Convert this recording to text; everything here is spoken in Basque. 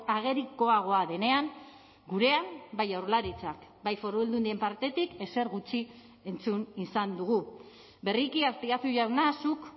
agerikoagoa denean gurean bai jaurlaritzak bai foru aldundien partetik ezer gutxi entzun izan dugu berriki azpiazu jauna zuk